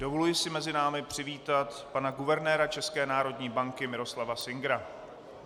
Dovoluji si mezi námi přivítat pana guvernéra České národní banky Miroslava Singera.